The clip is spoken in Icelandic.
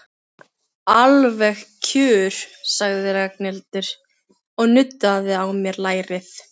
Alveg kjur, sagði Ragnhildur og nuddaði á mér lærið.